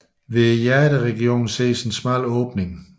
Ved hjerteregionen ses en smal åbning